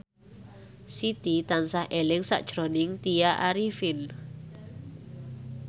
Siti tansah eling sakjroning Tya Arifin